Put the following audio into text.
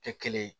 Tɛ kelen ye